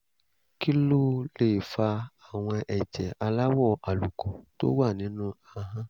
kí ló lè fa àwọn ẹ̀jẹ̀ aláwọ̀ àlùkò tó wà nínú ahọ́n?